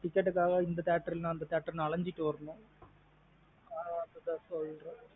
Ticket காக இந்த theatre இல்லேன்னு அந்த theatre னு அலைஞ்சிட்டு வரணும்.